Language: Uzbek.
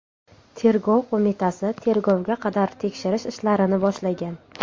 Tergov qo‘mitasi tergovga qadar tekshirish ishlarini boshlagan.